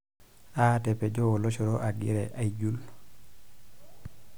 Aatapejo oloshoro agira aijul.